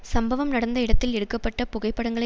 சம்பவம் நடந்த இடத்தில் எடுக்க பட்ட புகைப்படங்களை